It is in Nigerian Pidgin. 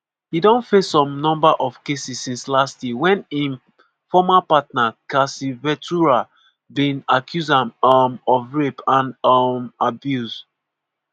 e don face some number of cases since last year wen im former partner cassie ventura bin accuse am um of rape and um abuse.